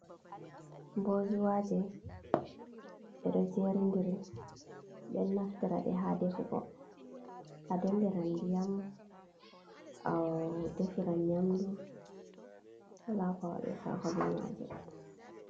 Bozuwaje ɗeɗo jerdiri, ɓeɗo naftira ɗe ha defugo, a dolliran ndiyam, ahh adefiran nyamdu, wola ko a waɗirtako be maje.